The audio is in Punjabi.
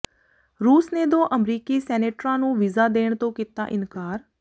ਰੂਸ ਨੇ ਦੋ ਅਮਰੀਕੀ ਸੈਨੇਟਰਾਂ ਨੂੰ ਵੀਜ਼ਾ ਦੇਣ ਤੋਂ ਕੀਤਾ ਇਨਕਾਰ